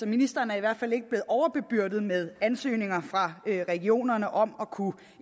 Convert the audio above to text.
ministeren i hvert fald ikke er blevet overbebyrdet med ansøgninger fra regionerne om at kunne